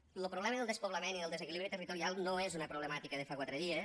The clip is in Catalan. lo problema del despoblament i del desequilibri territorial no és una problemàtica de fa quatre dies